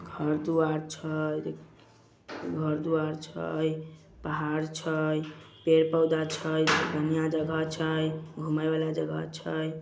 घर तो अच्छा है घर तो अच्छा है पहाड़ तो अच्छा है पेड़-पौधा अच्छा है घूमने वाला जगह अच्छा है।